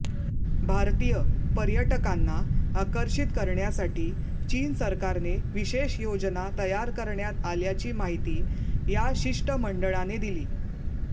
भारतीय पर्यटकांना आकर्षित करण्यासाठी चीन सरकारने विशेष योजना तयार करण्यात आल्याची माहिती या शिष्टमंडळाने दिली